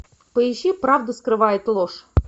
поищи правда скрывает ложь